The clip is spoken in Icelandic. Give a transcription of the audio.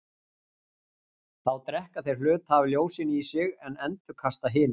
þá drekka þeir hluta af ljósinu í sig en endurkasta hinu